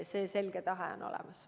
See selge tahe on olemas.